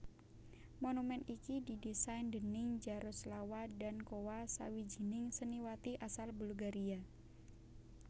Monumèn iki didésain déning Jaroslawa Dankowa sawijining seniwati asal Bulgaria